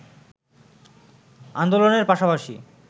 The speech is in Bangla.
আন্দোলনের পাশাপাশি